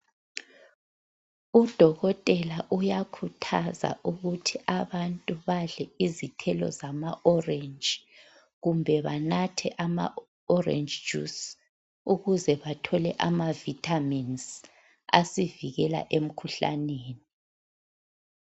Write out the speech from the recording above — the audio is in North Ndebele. Udokotela uyakhuthaza ukuthi abantu badle izithelo zama orange kumbe banathe ama orange juice ukuze bathole amavitamins asivikela emkhuhlaneni.